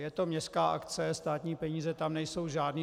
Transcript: Je to městská akce, státní peníze tam nejsou žádné.